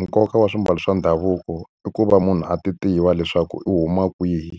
Nkoka wa swiambalo swa ndhavuko i ku va munhu a ti tiva leswaku u huma kwihi